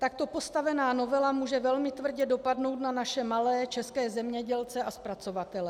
Takto postavená novela může velmi tvrdě dopadnout na naše malé české zemědělce a zpracovatele.